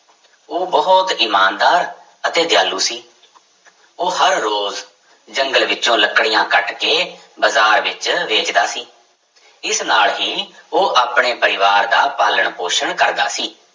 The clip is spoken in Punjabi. ਉਹ ਬਹੁਤ ਇਮਾਨਦਾਰ ਅਤੇ ਦਿਆਲੂ ਸੀ ਉਹ ਹਰ ਰੋਜ਼ ਜੰਗਲ ਵਿੱਚੋਂ ਲੱਕੜੀਆਂ ਕੱਟ ਕੇ ਬਾਜ਼ਾਰ ਵਿੱਚ ਵੇਚਦਾ ਸੀ, ਇਸ ਨਾਲ ਹੀ ਉਹ ਆਪਣੇ ਪਰਿਵਾਰ ਦਾ ਪਾਲਣ ਪੋਸ਼ਣ ਕਰਦਾ ਸੀ।